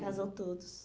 Casou todos.